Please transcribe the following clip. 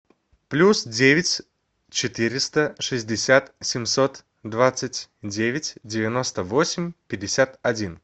плюс девять четыреста шестьдесят семьсот двадцать девять девяносто восемь пятьдесят один